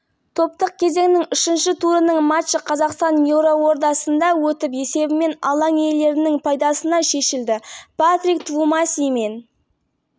осы жеңістің арқасында астаналықтар тобында ұпай жинап плей-оффқа шығуға жақсы мүмкіндік сақтады келесі матчты қазақстандық футболшылар